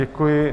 Děkuji.